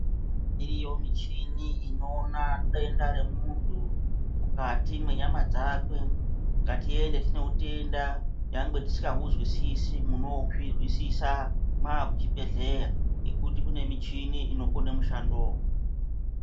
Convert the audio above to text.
Iriyo michini inoona denda remuntu mukati mwenyama dzakwe, ngatiende tineutenda. Nyangwe tisikahuzwisisi munoozvizwisisa mwaakuchibhehleya ngekuti kune michini inokone mushandowo.